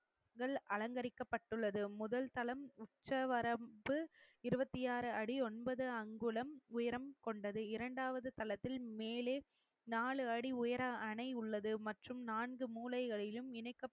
முதல் அலங்கரிக்கப்பட்டுள்ளது முதல் தளம் உச்சவரம்பு இருபத்தி ஆறு அடி ஒன்பது அங்குலம் உயரம் கொண்டது இரண்டாவது தளத்தில் மேலே நாலு அடி உயர அணை உள்ளது மற்றும் நான்கு மூலைகளிலும் இணைக்கப்